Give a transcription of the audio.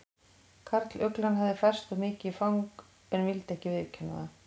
Karluglan hafði færst of mikið í fang en vildi ekki viðurkenna það.